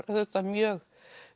auðvitað mjög